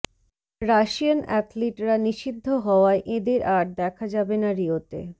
Russian অ্যাথলিটরা নিষিদ্ধ হওয়ায় এঁদের আর দেখা যাবে না রিওতে